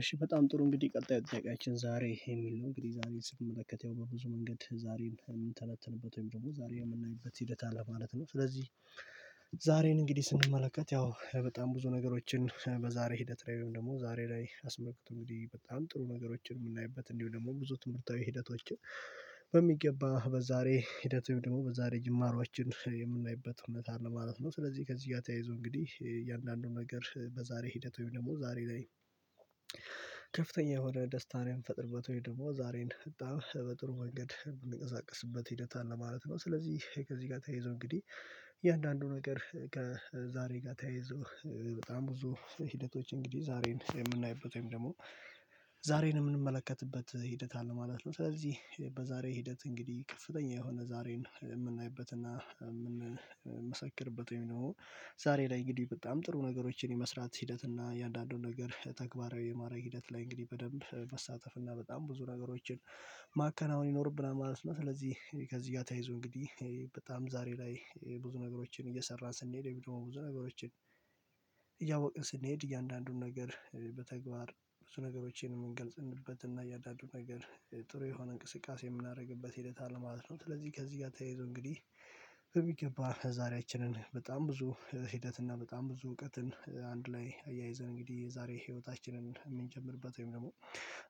እሺ በጣም ጥሩ እንግዲህ ቀጣዩ ጥያቂያችን ዛሬ የሚል ነው እንግዲህ ዛሬ ስንመለከት ያው በብዙ መንገድ ዛሬን ምንተነትንበት ወይም ደሞ ዛሬ የምናይበት ሂደት አለ ማለት ነው። ስለዚህ ዛሬን እንግዲህ ስንመለከት ያው በጣም ብዙ ነገሮችን በዛሬ ሂደት ላይ ወይም ደሞ ዛሬ ላይ አስመልክቶ እንግዲህ በጣም ጥሩ ነገሮችን ምናይበት እንዲሁ ደግሞ ብዙ ትምህርታዊ ሂደቶችን በሚገባ በዛሬ ሂደት ወይም ደሞ በዛሬ ጅማሮአችን የምናይበት እውነት አለ ማለት ነው። ስለዚህ ከዚህ ጋ ተያይዞ እንግዲህ የእያንዳንዱን ነገር በዛሬ ሂደት ወይም ደሞ ዛሬ ላይ ከፍተኛ የሆነ ደስታን የምፈጥርበት ወይም ደሞ ዛሬን በጣም በጥሩ መንገድ ምንቀሳቀስበት ሂደት አለ ማለት ነው። ስለዚህ ከዚህ ጋ ተያይዞ እንግዲህ እያንዳንዱ ነገር ከዛሬ ጋ ተያይዞ በጣም ብዙ ሂደቶች እንግዲህ ዛሬን የምናይበት ወይም ደሞ ዛሬን እምንመለከትበት ሂደት አለ ማለት ነው። ስለዚህ በዛሬ ሂደት እንግዲህ ከፍተኛ የሆነ ዛሬን እምናይበት እምንመሰክርበት ወይም ደሞ ዛሬ ላይ እንግዲህ በጣም ጥሩ ነገሮችን የመስራት ሂደት እና እያንዳንዱን ነገር ተግባራዊ የማረግ ሂደት ላይ እንግዲህ በደንብ መሳተፍ እና በጣም ብዙ ነገሮችን ማከናወን ይኖርብናል ማለት ነው። ስለዚህ ከዚህ ጋ ተያይዞ እንግዲህ በጣም ዛሬ ላይ ብዙ ነገሮችን እየሰራን ስንሄድ ደሞ ብዙ ነገሮችን እያወቅን ስንሄድ እያንዳንዱን ነገር በተግባር በዙ ነገሮቼን ምንገልጽንበት እና እያዳዱን ነገር ጥሩ የሆነ እንቅስቃሴ የምናረግበት ሂደት አለ ማለት ነው። ስለዚህ ከዚህ ጋ ተያይዞ እንግዲህ በሚገባ ዛሪያችንን በጣም ብዙ ሂደት እና በጣም ብዙ እውቀትን አንድ ላይ አያይዘን እንግዲህ ዛሬ ህይወታችንን እምንጀምርበት ወይም ደሞ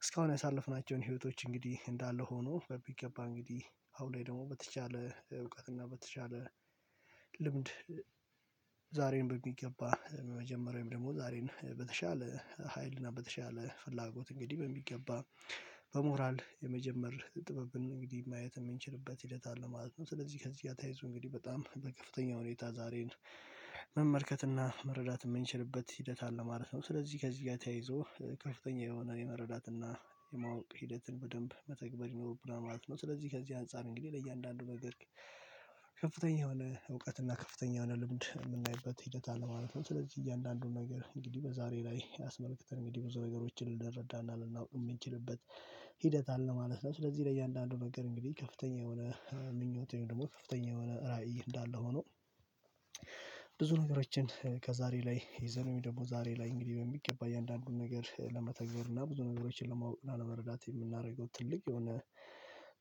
እስካሁን ያሳለፍናቸውን ህይወቶች እንግዲህ እንዳለ ሆኖ በሚገባ እንግዲህ አሁን ላይ ደሞ በተቻለ እውቀት እና በተቻለ ልምድ ዛሬን በሚገባ መጀመሪያም ደሞ ዛሬን በተሻለ ሀይልና በተሻለ ፍላጎት እንግዲህ በሚገባ በሞራል የመጀመር ጥበብን እንግዲህ ማየት እምንችልበት ሂደት አለ ማለት ነው። ስለዚህ ከዚህ ጋ ታያይዙ እንግዲህ በጣም በከፍተኛ ሁኔታ ዛሬን መመልከትና መረዳት ምንችልበት ሂደት አለ ማለት ነው። ስለዚህ ከዚህ ጋ ተያይዞ ከፍተኛ የሆነ የመረዳትና የማወቅ ሂደትን በደንብ መተግበር ይኖርብናል ማለት ነው። ስለዚህ ከዚህ አንፃር እንግዲህ ለእያንዳንዱ ነገር ከፍተኛ የሆነ እውቀት እና ከፍተኛ የሆነ ልምድ እምናይበት ሂደት አለ ማለት ነው። ስለዚህ እያንዳንዱን ነገር እንግዲህ በዛሬ ላይ አስመልክተን እንግዲህ ብዙ ነገሮችን ልንረዳና ልናውቅ እምንችልበት ሂደት አለ ማለት ነው። ስለዚህ ለእያንዳንዱ ነገር እንግዲህ ከፍተኛ የሆነ ምኞቴ ወይም ደሞ ከፍተኛ የሆነ ራዕይ እንዳለ ሆኖ ብዙ ነገሮችን ከዛሬ ላይ የዘርሚ ደሞ ዛሬ ላይ እንግዲህ በሚገባ እያንዳንዱን ነገር ለመተግበር እና ብዙ ነገሮችን ለማወቅ እና ለመረዳት የምናረገው ትልቅ የሆነ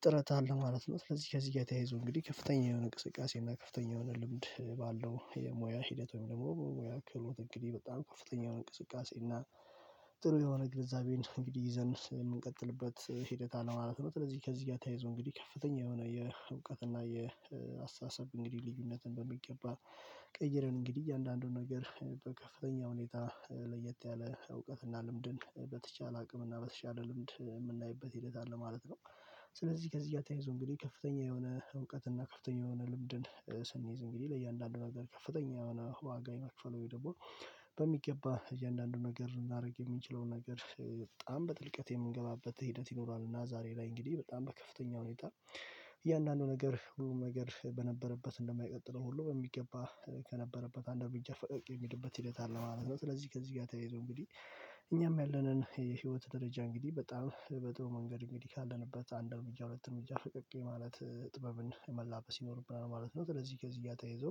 ጥረት አለ ማለት ነው። ስለዚህ ከዚህ ጋ ተያይዞ እንግዲህ ከፍተኛ የሆነ ንቅስቃሴ እና ከፍተኛ የሆነ ልምድ ባለው የሞያ ሂደት ወይም ደሞ በሙያ ክህሎት እንግዲህ በጣም ከፍተኛ እንቅስቃሴ እና ጥሩ የሆነ ግንዛቤ እንግዲህ ይዘን የምንቀጥልበት ሂደት አለ ማለት ነው። ስለዚህ ከዚህ ጋ ተያይዞ እንግዲህ ከፍተኛ የሆነ የእውቀት እና የአስተሳሰብ እንግዲህ ልዩነትን በሚገባ ቀይረን እንግዲህ እያንዳንዱን ነገር በከፍተኛ ሁኔታ ለየት ያለ እውቀትና ልምድን በተቻለ አቅም እና በተቻለ ልምድ እምናይበት ሂደት አለ ማለት ነው። ስለዚህ ከዚህ ጋ ተያይዙ እንግዲህ ከፍተኛ የሆነ እውቀት እና ከፍተኛ የሆነ ልምድን ስንይዝ እንግዲህ ለእያንዳንዱ ነገር ከፍተኛ የሆነ ዋጋ የመክፈል ወይ ደግሞ በሚገባ እያንዳንዱን ነገር ልናረግ የምችለውን ነገር በጣም በጥልቀት የምንገባበት ሂደት ይኖራሉ። እና ዛሬ ላይ እንግዲህ በጣም በከፍተኛ ሁኔታ እያንዳንዱ ነገር ሁሉም ነገር በነበረበት እንደማይቀጥለው ሁሉ በሚገባ ከነበረበት አንድ አርምጃ ፈቀቅ የሚልበት ሂደት አለ ማለት ነው። ስለዚህ ከዚህ ጋ ተያይዞ እንግዲህ እኛም ያለንን የህይወት ደረጃ እንግዲህ በጣም በጥሩ መንገድ እንግዲህ ካለንበት አንድ አርምጃ ሁለት አርምጃ ፈቀቅ የማለት ጥበብን መላበስ ይኖርብናል ማለት ነው። ስለዚህ ከዚህ ጋ ተያይዞ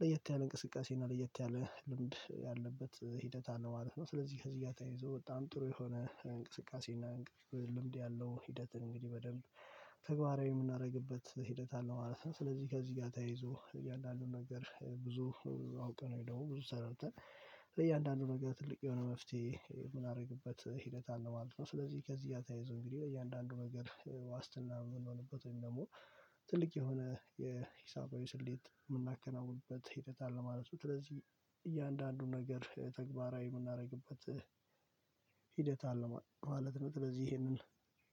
ለየት ያለ እንቅስቃሴ እና ለየት ያለ ልምድ ያለበት ሂደት አለ ማለት ነው። ስለዚህ ከዚህ ጋ ተያይዞ በጣም ጥሩ የሆነ እንቅስቃሴ እና እንቅስቃሴ ልምድ ያለው ሂደትን እንግዲህ በደንብ ተግባራዊ ምናረግበት ሂደት አለ ማለት ነው። ስለዚህ ከዚህ ጋ ተያይዞ እያንዳንዱን ነገር ብዙ አውቀን ወይ ደሞ ብዙ ሰርተን ለእያንዳንዱ ነገር ትልቅ የሆነ መፍትሄ ምንአረግበት ሂደት አለ ማለት ነው። ስለዚህ ከዚህ ጋ ተያይዘው እንግዲህ ለእያንዳንዱ ነገር ዋስትና ምንሆንበት ወይም ደሞ ትልቅ የሆነ የሂሳባዊ ስሌት ምናከናውንበት ሂደት አለ ማለት ነው። ስለዚህ እያንዳንዱን ነገር ተግባራዊ ምናርግበት ሂደት አለ ማለት ነው። ስለዚህ እሄንን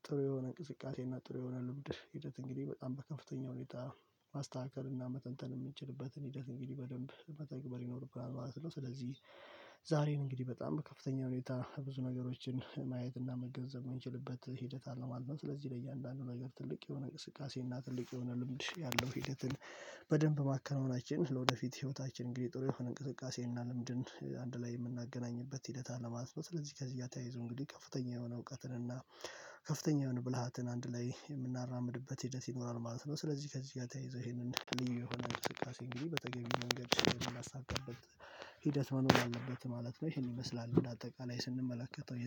ጥሩ የሆነ እንቅስቃሴ እና ጥሩ የሆነ ልምድ ሂደት እንግዲህ በጣም በከፍተኛ ሁኔታ ማስተካከል እና መተንተን እምንችልበትን ሂደት እንግዲህ በደንብ መተግበር ይኖርብናል ማለት ነው። ስለዚህ ዛሬን እንግዲህ በጣም በከፍተኛ ሁኔታ ብዙ ነገሮችን ማየት እና መገንዘብ ምንችልበት ሂደት አለ ማለት ነው። ስለዚህ ለእያንዳንዱ ነገር ትልቅ የሆነ እንቅስቃሴ እና ትልቅ የሆነ ልምድ ያለው ሂደትን በደንብ ማከናወናችን ለወደፊት ሂወታችን እንግዲህ ጥሩ የሆነ እንቅስቃሴ እና ልምድን አንድ ላይ የምናገናኝበት ሂደት አለ ማለትነው። ስለዚህ ከዚህ ተያይዘው እንግዲህ ከፍተኛ የሆነ እውቀትን እና ከፍተኛ የሆነ ብልሃትን አንድ ላይ የምናራምድበት ሂደት ይኖራል ማለት ነው። ስለዚህ ከዚህ ጋ ተያይዞ እሄንን ልዩ የሆነ እንቅስቃሴ እንግዲህ በተገቢው መንገድ ምናሳካበት ሂደት መኖር አለበት ማለት ነው። እሄን ይመስላል እንደ አጠቃላይ ስንመለከተው